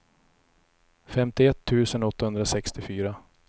femtioett tusen åttahundrasextiofyra